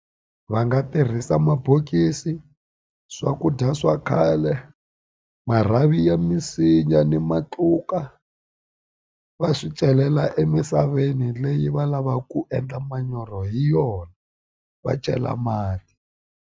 Va nga tirhisa mabokisi swakudya swa khale marhavi ya misinya ni matluka va swi celela emisaveni leyi va lavaka ku endla manyoro hi yona va chela mati.